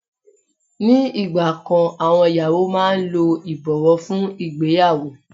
Ni ìgbà kan àwọn ìyàwó máa ń lo ìbọ̀wọ́ fún ìgbéyàwó.